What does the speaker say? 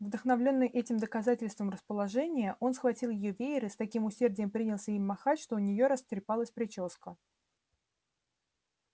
вдохновлённый этим доказательством расположения он схватил её веер и с таким усердием принялся им махать что у неё растрепалась причёска